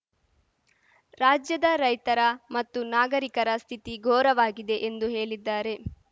ರಾಜ್ಯದ ರೈತರ ಮತ್ತು ನಾಗರಿಕರ ಸ್ಥಿತಿ ಘೋರವಾಗಿದೆ ಎಂದು ಹೇಲಿದ್ದಾರೆ